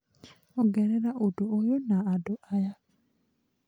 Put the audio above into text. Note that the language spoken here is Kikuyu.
ongerera ũndũ ũyũ na andũ aya